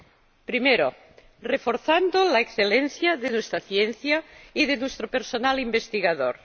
En primer lugar, reforzando la excelencia de nuestra ciencia y de nuestro personal investigador.